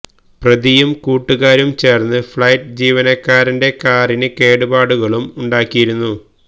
പ്രതിയും കൂട്ടുകാരും ചേർന്ന് ഫ്ളൈറ്റ് ജീവനക്കാരന്റെ കാറിന് കേടുപാടുകളും ഉണ്ടാക്കിയിരുന്നു